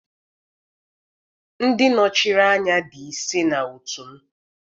ndị nọchiri anya di ise na otu m